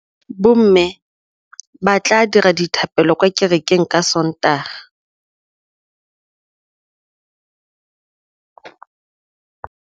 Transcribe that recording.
Bommê ba tla dira dithapêlô kwa kerekeng ka Sontaga.